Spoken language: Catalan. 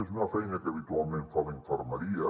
és una feina que habitualment fa la infermeria